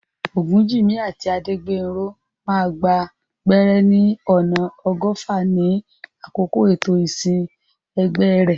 Ogunjimi àti Adegbenro máa gba gbẹ́rẹ́ ní ọ̀nà ọgọ́fà ní àkókò ètò ìsìn ẹgbẹ́ rẹ̀.